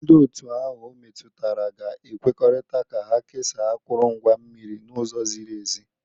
Ndị otu ahụ ometụtara ga ekwekọrịta ka ha kesaa akụrụngwa mmiri n'ụzọ ziri ezi.